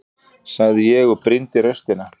sagði ég og brýndi raustina.